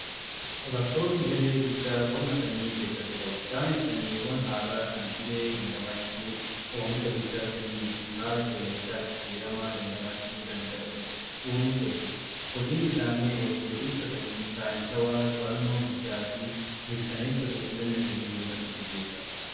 Qorattoonni gahee guddaa qonna sanyii keessatti qabu. Isaanis sanyiiwwan haaraa kan dhibee dandamachuu oomisha guddaa kennuu fi haala qilleensaa jijjiirama dandamachuu danda'an uumuuf hojjetu. Hojiin isaanii wal fuudhiinsa saayinsawaa qorannoo hiddaa fi mirkaneessa qulqullinna sanyii irratti xiyyeeffata.